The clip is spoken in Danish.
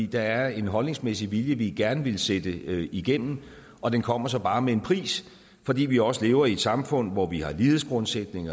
der er en holdningsmæssig vilje vi gerne vil sætte igennem og den kommer så bare med en pris fordi vi også lever i et samfund hvor vi har en lighedsgrundsætning